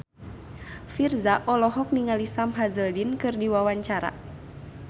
Virzha olohok ningali Sam Hazeldine keur diwawancara